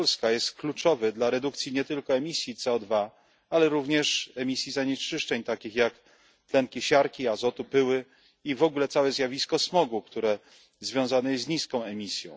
Polska jest kluczowy dla redukcji nie tylko emisji CO2, ale również emisji zanieczyszczeń takich jak tlenki siarki, azotu, pyły i w ogóle całe zjawisko smogu, które związane jest z niską emisją.